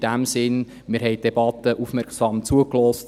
In diesem Sinn: Wir haben der Debatte aufmerksam zugehört.